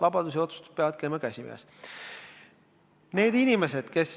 Vabadus ja otsustusõigus peavad käima käsikäes.